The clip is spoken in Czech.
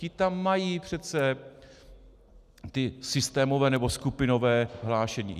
Ti tam mají přece ta systémová nebo skupinová hlášení.